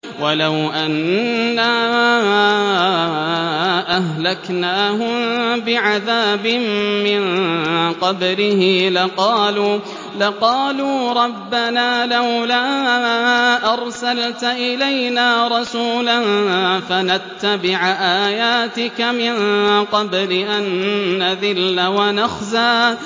وَلَوْ أَنَّا أَهْلَكْنَاهُم بِعَذَابٍ مِّن قَبْلِهِ لَقَالُوا رَبَّنَا لَوْلَا أَرْسَلْتَ إِلَيْنَا رَسُولًا فَنَتَّبِعَ آيَاتِكَ مِن قَبْلِ أَن نَّذِلَّ وَنَخْزَىٰ